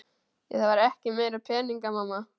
Ég þarf ekki meiri peninga mamma.